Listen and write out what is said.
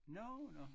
Nå nå